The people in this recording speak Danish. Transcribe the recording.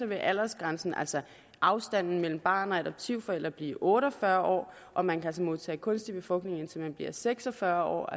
vil aldersgrænsen altså afstanden mellem barn og adoptivforældre blive otte og fyrre år og man kan modtage kunstig befrugtning indtil man bliver seks og fyrre år